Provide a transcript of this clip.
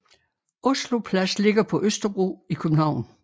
Oslo Plads ligger på Østerbro i København